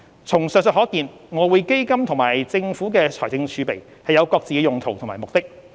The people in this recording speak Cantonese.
從上述可見，外匯基金與政府財政儲備有各自的用途及目的。